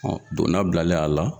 Ɔ donda bilalen a la